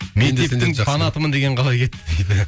мектептің фанатымын деген қалай кетті дейді